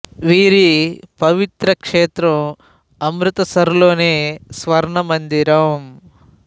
వీరి పవిత్ర క్షేత్రం అమృత్ సర్ లోని స్వర్ణ మందిరం